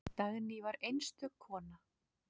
Dagný var einstök kona.